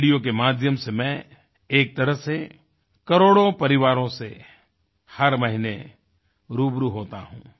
radio के माध्यम से मैं एक तरह से करोड़ों परिवारों से हर महीने रूबरू होता हूँ